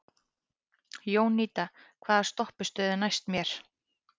Jónída, hvaða stoppistöð er næst mér?